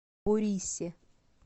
борисе